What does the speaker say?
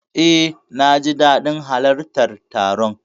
Eh, naji dadin halartar taron.